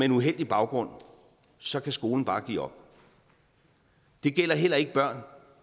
en uheldig baggrund så kan skolen bare give op det gælder heller ikke børn